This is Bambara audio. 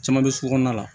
Caman bɛ sugu kɔnɔna la